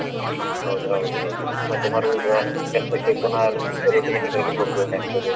ಹೌದ್‍ ಹೌದ್‍ ಹೌದು. ಮತ್ತೆ ಮರುದಿವ್ಸ ಕೆಲ್ಸಕ್ಕೆ ಪುನ: routine ಗ್ಳಲ್ಲಿ ಹೋಗ್ಬೇಕಾಗ್ತದೆ.